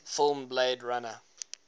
film blade runner